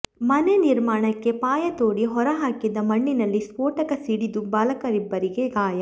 ಮನೆ ನಿರ್ಮಾಣಕ್ಕೆ ಪಾಯ ತೋಡಿ ಹೊರ ಹಾಕಿದ್ದ ಮಣ್ಣಿನಲ್ಲಿ ಸ್ಫೋಟಕ ಸಿಡಿದು ಬಾಲಕರಿಬ್ಬರಿಗೆ ಗಾಯ